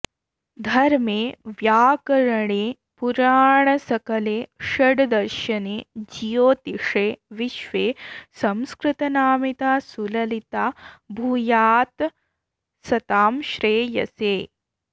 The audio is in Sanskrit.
धर्मे व्याकरणे पुराणसकले षड्दर्शने ज्योतिषे विश्वे संस्कृतनामिता सुललिता भूयात्सतां श्रेयसे